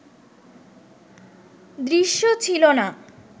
দৃশ্য ছিল না